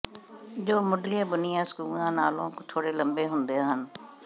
ਜੋ ਮੁੱਢਲੀਆਂ ਬੁਣੀਆਂ ਸਕੂਂਆਂ ਨਾਲੋਂ ਥੋੜੇ ਲੰਬੇ ਹੁੰਦੇ ਹਨ